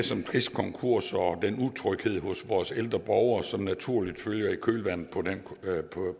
konkurser og den utryghed hos vores ældre borgere som naturligt følger i kølvandet